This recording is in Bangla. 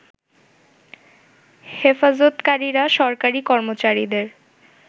হেফজতকারীরা সরকারি কর্মচারীদের